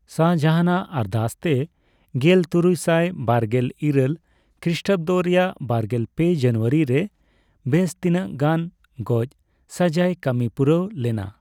ᱥᱟᱦᱚᱡᱟᱦᱟᱱ ᱟᱜ ᱟᱨᱫᱟᱥᱛᱮ ᱜᱮᱞ ᱛᱩᱨᱩᱭᱥᱟᱭ ᱵᱟᱨᱜᱨᱜᱮᱞ ᱤᱨᱟᱹᱞ ᱠᱷᱤᱥᱴᱟᱵᱫᱚ ᱨᱮᱭᱟᱜ ᱵᱟᱨᱜᱮᱞ ᱯᱮ ᱡᱟᱱᱩᱭᱟᱨᱤ ᱨᱮ ᱵᱮᱥ ᱛᱤᱱᱟᱹᱜ ᱜᱟᱱ ᱜᱚᱡᱽᱥᱟᱹᱡᱟᱹᱭ ᱠᱟᱹᱢᱤᱯᱩᱨᱟᱹᱣ ᱞᱮᱱᱟ ᱾